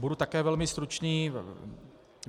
Budu také velmi stručný.